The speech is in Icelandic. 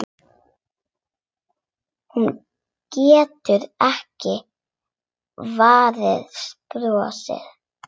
Hún getur ekki varist brosi.